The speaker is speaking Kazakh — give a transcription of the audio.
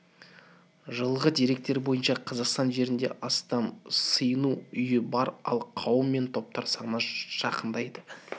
жылғы деректер бойынша қазақстан жерінде астам сыйыну үйі бар ал қауым мен топтар саны жақындайды